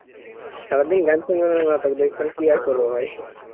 সারাদিন গান সুনব না তো কি আর করব ভাই